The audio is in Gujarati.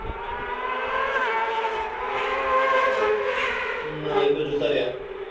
અમ એતો જતા રહ્યા